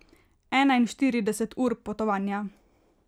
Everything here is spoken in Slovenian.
Enainštirideset ur potovanja.